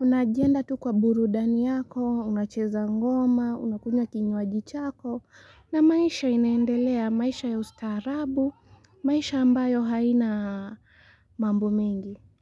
unajienda tu kwa burudani yako, unacheza ngoma, unakunywa kinywaji chako. Na maisha inaendelea maisha ya ustaarabu, maisha ambayo haina mambo mengi.